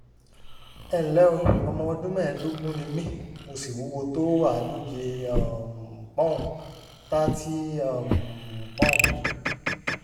ẹ ǹlẹ́ o ọmọ ọdún mẹ́ẹ̀ẹ́dógún ni mí mo sì wúwo tó àádóje um pọ́nùn [thirty] um poun